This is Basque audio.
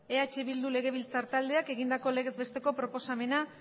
eh bildu legebiltzar taldeak egindako legez besteko proposamena